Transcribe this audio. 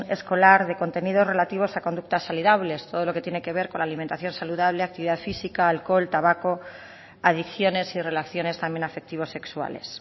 escolar de contenidos relativos a conductas saludables todo lo que tiene que ver con alimentación saludable actividad física alcohol tabaco adicciones y relaciones también afectivo sexuales